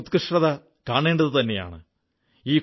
ഇവയുടെ ഉത്കൃഷ്ടത കാണേണ്ടതുതന്നെയാണ്